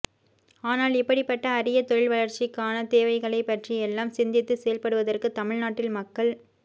ஆனால் இப்படிப்பட்ட அரிய தொழில் வளர்ச்சிக் கான தேவைகளைப்பற்றியெல்லாம் சிந்தித்துச் செயல்படுவதற்கு தமிழ்நாட்டில் மக்கள்